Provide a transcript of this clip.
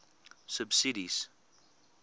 subsidies